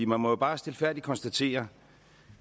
man må jo bare stilfærdigt konstatere